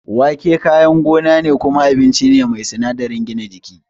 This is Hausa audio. Wake kayan gona ne kuma abinci ne mai sinadarin gina jiki.